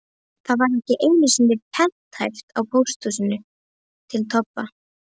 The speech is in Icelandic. Það var ekki einu sinni prenthæft á póstkorti til Tobba.